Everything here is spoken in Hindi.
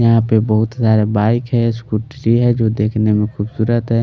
यहाँ पे बहुत सारे बाइक है स्कूटरी हैजो देखने में खूबसूरत है।